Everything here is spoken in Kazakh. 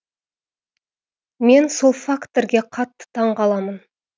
мен сол факторге қатты таң қаламын